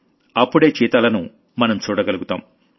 మరి అప్పటిదాకా చీతాలను మనం చూడగలుగుతాం